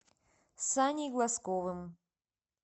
саней глазковым